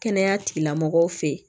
Kɛnɛya tigilamɔgɔw fɛ yen